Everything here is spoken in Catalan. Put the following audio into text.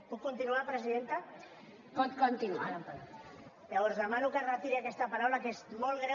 puc continuar presidenta llavors demano que retiri aquesta paraula que és molt greu